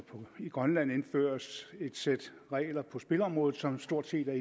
i grønland indføres et sæt regler på spilområdet som stort set er